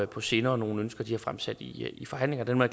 på sinde og nogle ønsker de har fremsat i forhandlingerne dem er